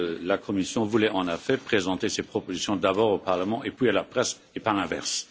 La Commission voulait, en effet, présenter ses propositions d'abord au Parlement puis à la presse et pas l'inverse.